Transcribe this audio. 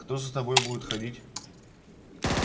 кто за тобой будет ходить